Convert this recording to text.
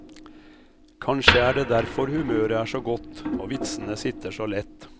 Kanskje er det derfor humøret er så godt og vitsene sitter så lett.